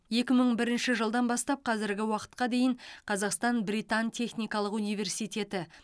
екі мың бірінші жылдан бастап қазіргі уақытқа дейін қазақстан британ техникалық университеті